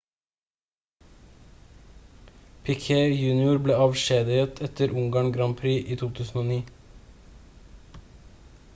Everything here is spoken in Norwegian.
piquet jr ble avskjediget etter ungarn grand prix i 2009